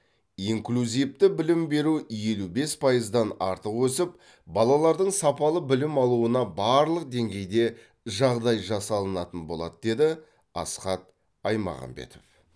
инклюзивті білім беру елу бес пайыздан артық өсіп балалардың сапалы білім алуына барлық деңгейде жағдай жасалатын болады деді асхат аймағамбетов